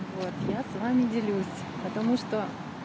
вот я с вами делюсь потому что